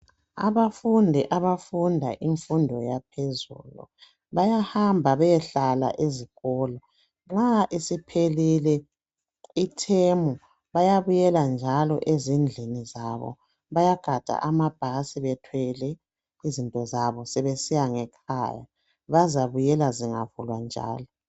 Abafundi abafunda imfundo yaphezulu bayahamba beyehlala ezikolo, nxa isiphelile ithemu, bayabuyela njalo ezindlini zabo. Bayagada amabhasi bethwele izintozabo sebesiya ngekhaya, bazabuyela zingavulwa njalo.